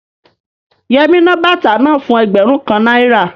Yẹmí ná bàtà náà fún ẹgbẹ̀rún kan náírà